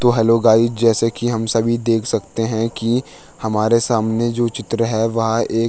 तो hello guys जैसे की हम सभी देख सकते हैं कि हमारे सामने जो चित्र है वह एक --